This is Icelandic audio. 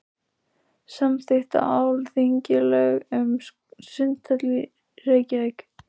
Samþykkt á Alþingi lög um sundhöll í Reykjavík.